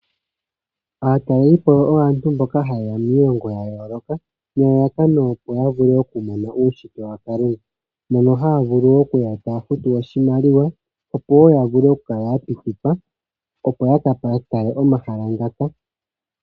Aatalelipo oyo aantu mboka hayeya miilongo ya yooloka nelalakano opo yavule okumona uushitwe wakalunga mono haya vulu okuya taya futu oshimaliwa opo woo yavule okukala ya pitikwa opo yakatale omahala ngaka.